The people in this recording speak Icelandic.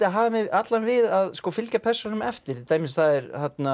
að hafa mig allan við að fylgja persónunum eftir það er